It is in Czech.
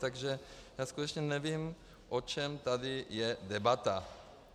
Takže já skutečně nevím, o čem tady je debata.